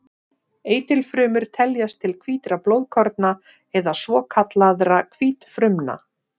Eitilfrumur teljast til hvítra blóðkorna eða svokallaðra hvítfrumna.